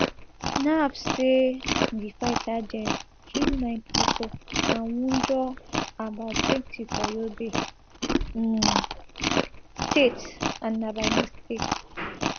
naf say di fighter jets kill nine pipo and wunjure about twenty for yobe um state and na by mistake